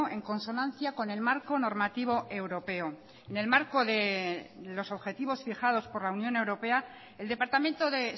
en consonancia con el marco normativo europeo en el marco de los objetivos fijados por la unión europea el departamento de